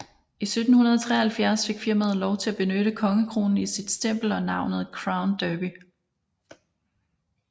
I 1773 fik firmaet lov til at benytte kongekronen i sit stempel og navnet Crown Derby